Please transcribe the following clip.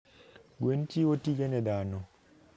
Gwen chiwo tije na dhano.